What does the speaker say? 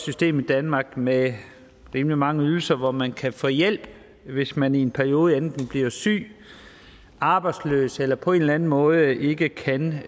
system i danmark med rimelig mange ydelser hvor man kan få hjælp hvis man i en periode enten bliver syg arbejdsløs eller på en eller anden måde ikke kan